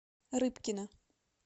рыбкина